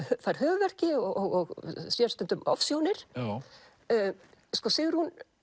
fær höfuðverki og sér stundum ofsjónir Sigrún